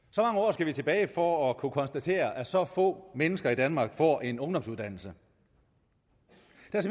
skal vi tilbage for at kunne konstatere at så få mennesker i danmark får en ungdomsuddannelse